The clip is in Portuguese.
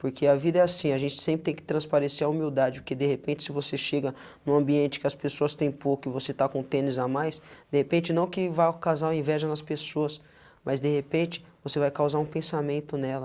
Porque a vida é assim, a gente sempre tem que transparecer a humildade, porque de repente se você chega no ambiente que as pessoas têm pouco e você está com tênis a mais, de repente não que vá ocasionar inveja nas pessoas, mas de repente você vai causar um pensamento nela.